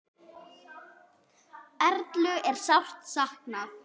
Erlu er sárt saknað.